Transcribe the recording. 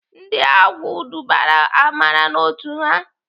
Ndị agwụ dubara Amara n'otu ha.